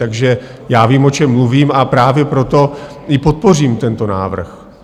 Takže já vím, o čem mluvím, a právě proto i podpořím tento návrh.